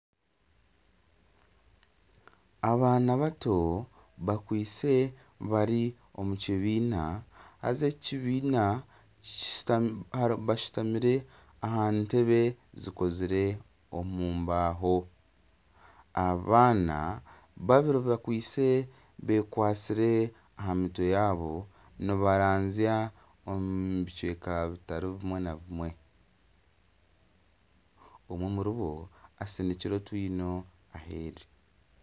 Abaana bato bakwitse bari omu kibiina. Haza eki kibiina bashutamire aha ntebe zikozire omu mbaaho. Abaana babiri bakwaitse beekwatsire aha mutwe yaabo nibaranzya omu bicweka bitari bimwe na bimwe. Omwe omuribo asinikire otwino aheeru.